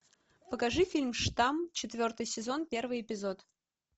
покажи фильм штамм четвертый сезон первый эпизод